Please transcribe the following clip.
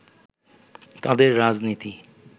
তাদের রাজনীতি